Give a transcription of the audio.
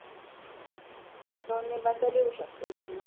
दोन निबंध लिहू शकतेस तु